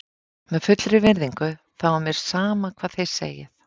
Með fullri virðingu þá er mér sama hvað þið segið.